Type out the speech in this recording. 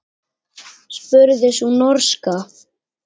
spurði sú norska.